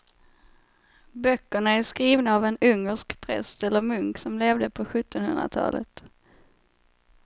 Böckerna är skrivna av en ungersk präst eller munk som levde på sjuttonhundratalet.